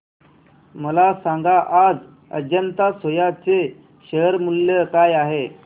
मला सांगा आज अजंता सोया चे शेअर मूल्य काय आहे